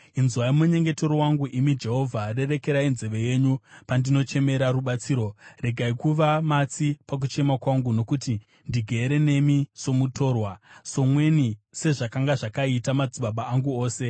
“Inzwai munyengetero wangu, imi Jehovha, rerekerai nzeve yenyu pandinochemera rubatsiro; regai kuva matsi pakuchema kwangu. Nokuti ndigere nemi somutorwa, somweni, sezvakanga zvakaita madzibaba angu ose.